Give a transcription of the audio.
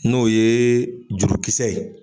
N'o ye jurukisɛ ye.